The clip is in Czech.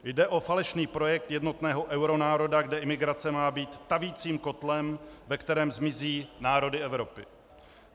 Jde o falešný projekt jednotného euronároda, kde imigrace má být tavicím kotlem, ve kterém zmizí národy Evropy.